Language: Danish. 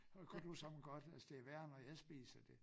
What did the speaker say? Så kunne du som godt altså det værre når jeg spiser det